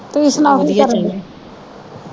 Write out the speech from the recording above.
ਤੁਸੀ ਸੁਣਾਓ ਕੀ ਕਰਨ ਦੇ